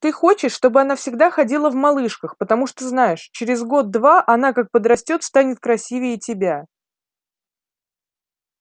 ты хочешь чтобы она всегда ходила в малышках потому что знаешь через год-два она как подрастёт станет красивее тебя